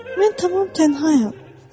Mən tamam tənhayam.